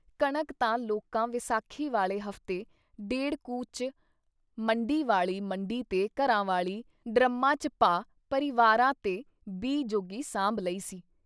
ਕਣਕ ਤਾਂ ਲੋਕਾਂ ਵੈਸਾਖੀ ਵਾਲੇ ਹਫ਼ਤੇ ਡੇੜ੍ਹ ਕੁ 'ਚ ਮੰਡੀ ਵਾਲੀ ਮੰਡੀ ਤੇ ਘਰਾਂ ਵਾਲੀ ਡਰੰਮਾਂ 'ਚ ਪਾ ਪਰਿਵਾਰਾਂ ਤੇ ਬੀਅ ਜੋਗੀ ਸਾਂਭ ਲਈ ਸੀ।